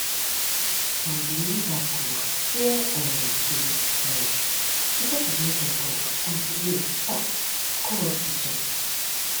some believers go fear um too much because of media talk and delay go hospital